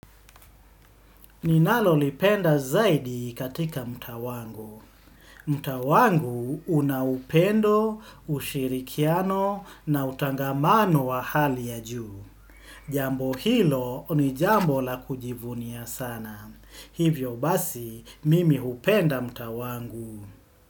Ninalolipenda zaidi katika mtaa wangu. Mtaa wangu una upendo, ushirikiano na utangamano wa hali ya juu. Jambo hilo, ni jambo la kujivunia sana. Hivyo basi, mimi hupenda mtaa wangu.